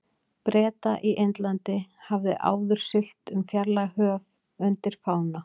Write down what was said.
Breta í Indlandi, hafði áður siglt um fjarlæg höf undir fána